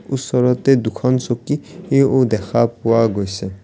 ওচৰতে দুখন চকী ই ও দেখা পোৱা গৈছে।